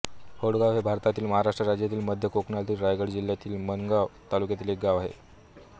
होडगाव हे भारतातील महाराष्ट्र राज्यातील मध्य कोकणातील रायगड जिल्ह्यातील माणगाव तालुक्यातील एक गाव आहे